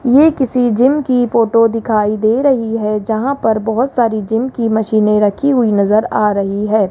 ये किसी जिम की फोटो दिखाई दे रही है जहां पर बहोत सारी जिम की मशीने रखी हुई नजर आ रही है।